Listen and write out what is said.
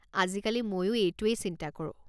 আজিকালি মইও এইটোৱে চিন্তা কৰোঁ।